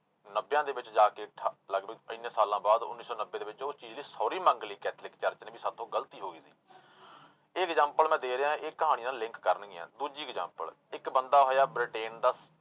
ਨੱਬਿਆਂ ਦੇ ਵਿੱਚ ਜਾ ਕੇ ਠਾ ਲਗਪਗ ਇੰਨੇ ਸਾਲਾਂ ਬਾਅਦ ਉੱਨੀ ਸੌ ਨੱਬੇ ਦੇ ਵਿੱਚ ਉਹ ਚੀਜ਼ ਲਈ sorry ਮੰਗ ਲਈ ਕੈਥੋਲਿਕ church ਨੇ ਵੀ ਸਾਥੋਂ ਗ਼ਲਤੀ ਹੋ ਗਈ ਸੀ ਇਹ example ਮੈਂ ਦੇ ਰਿਹਾਂ ਇਹ ਕਹਾਣੀ ਨਾਲ link ਕਰਨਗੀਆਂ ਦੂਜੀ example ਇੱਕ ਬੰਦਾ ਹੋਇਆ ਬ੍ਰਿਟੇਨ ਦਾ